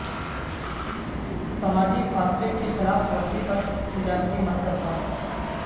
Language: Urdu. سماجی فاصلے کی خلاف ورزی پر تجارتی مرکز بند